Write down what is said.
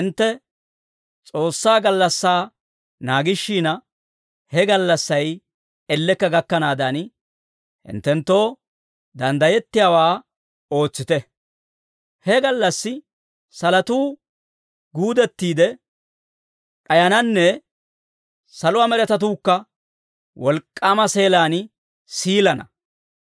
Hintte S'oossaa gallassaa naagishina, he gallassay ellekka gakkanaadan, hinttenttoo danddayettiyaawaa ootsite; he gallassi salotuu guudettiide d'ayananne saluwaa med'etatuukka wolk'k'aama seelaan siilana.